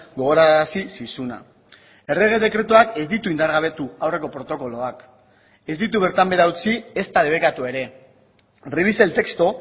gogorarazi zizuna errege dekretuak ez ditu indargabetu aurreko protokoloak ez ditu bertan behera utzi ezta debekatu ere revise el texto